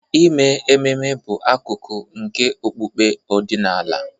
Ime ememe bụ akụkụ nke okpukpe ọdịnala.